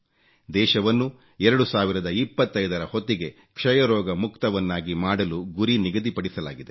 ದೇಶವನ್ನು 2025 ರ ಹೊತ್ತಿಗೆ ಕ್ಷಯರೋಗ ಮುಕ್ತವನ್ನಾಗಿ ಮಾಡಲು ಗುರಿ ನಿಗದಿಪಡಿಸಲಾಗಿದೆ